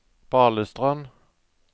Balestrand